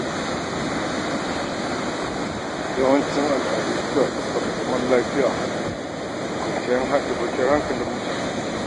Yawancin al'adu suna ɗabbaƙa zaman lafiya da kwanciyar hankalin mutane.